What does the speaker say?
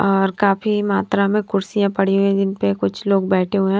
और काफी मात्रा में कुर्सियां पड़ी हुई हैं जिनपे कुछ लोग बैठे हुए हैं।